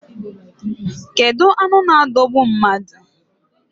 Kedu anụ na adogbu mmadụ?